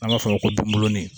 An b'a fɔ o ma ko binbɔnin